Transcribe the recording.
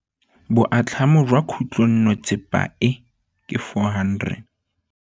Boatlhamô jwa khutlonnetsepa e, ke 400.